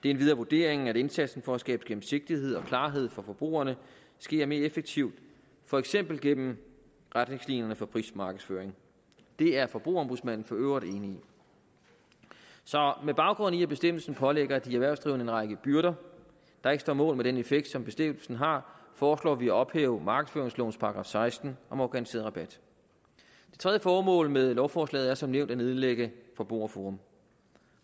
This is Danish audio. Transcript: endvidere vurderingen at indsatsen for at skabe gennemsigtighed og klarhed for forbrugerne sker mere effektivt for eksempel gennem retningslinjer for prismarkedsføring det er forbrugerombudsmanden for øvrigt enig i så med baggrund i at bestemmelsen pålægger de erhvervsdrivende en række byrder der ikke står mål med den effekt som bestemmelsen har foreslår vi at ophæve markedsføringslovens § seksten om organiseret rabat det tredje formål med lovforslaget er som nævnt at nedlægge forbrugerforum